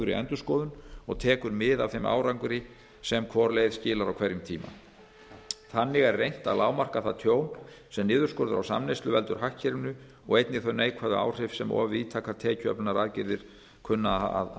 stöðugri endurskoðun og tekur mið af þeim árangri sem hvor leið skilar á hverjum tíma þannig er reynt að lágmarka það tjón sem niðurskurður á samneyslu veldur hagkerfinu og einnig þau neikvæðu áhrif sem of víðtækar tekjuöflunaraðgerðir kunna að